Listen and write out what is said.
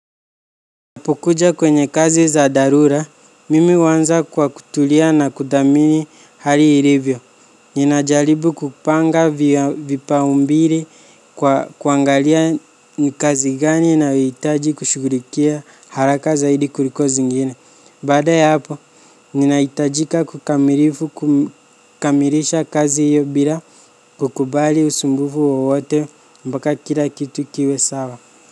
Napokuja kwenye kazi za dharura, mimi huanza kwa kutulia na kudhamini hali ilivyo. Ninajaribu kupanga vipaumbele kwa kuangalia ni kazi gani inayohitaji kushughulikia haraka zaidi kuliko zingine. Baada ya hapo, ninahitajika kukamilisha kazi hiyo bila kukubali usumbufu wowote mpaka kila kitu kiwe sawa.